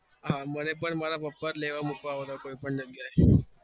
હા મને પણ મારા પપ્પા જ આવતા લેવા મુકવા કોઈ પણ જગ્યા એ